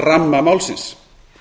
ramma málsins